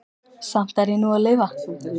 Samt er ég nú að lifa.